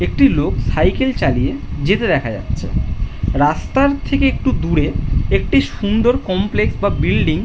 একটি লোক সাইকেল চালিয়ে যেতে দেখা যাচ্ছে রাস্তার থেকে একটু দূরে একটি সুন্দর কমপ্লেক্স বা বিল্ডিং --